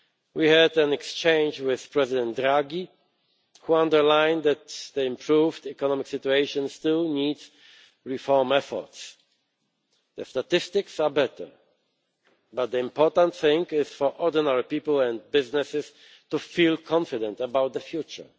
We had an exchange with President Draghi, who underlined that the improved economic situation still needs reform efforts. The statistics are better, but the important thing is for ordinary people and businesses to feel confident about the future.